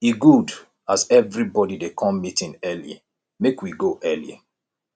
e good as everybody dey come meeting early make we go early